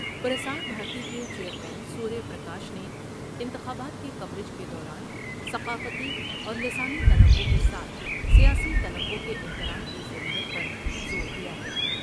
پرسار بھارتی کے chairman Surya Prakash نے انتخابات کے کوریج کے دوران ثقافتی اور لسانی تنوع کے ساتھ سیاسی تنوع کے احترام کی ضرورت پر زور دیا ہے ۔